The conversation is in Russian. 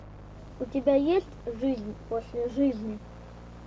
у тебя есть жизнь после жизни